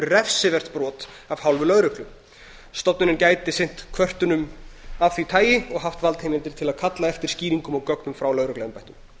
refsivert brot af hálfu lögreglu stofnunin gæti sinnt kvörtunum af því tagi og haft valdheimildir til að kalla eftir skýringum og gögnum frá lögregluembættum